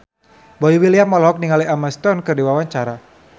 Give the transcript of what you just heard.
Boy William olohok ningali Emma Stone keur diwawancara